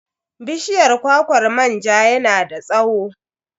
Bishiyar kwakwar manja yana da tsawo.